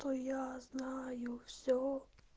то я знаю все